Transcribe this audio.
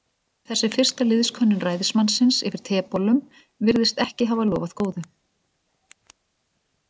Þessi fyrsta liðskönnun ræðismannsins yfir tebollum virðist ekki hafa lofað góðu.